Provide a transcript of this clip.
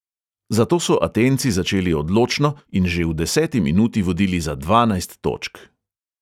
Zato so atenci začeli odločno in že v deseti minuti vodili za dvanajst točk.